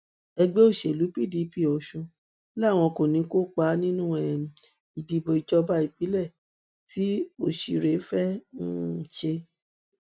ẹgbẹ òṣèlú pdp ọsùn làwọn kò ní í kópa nínú um ìdìbò ìjọba ìbílẹ tí ọsiré fẹẹ um ṣe